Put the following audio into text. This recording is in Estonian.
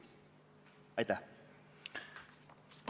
Aitäh!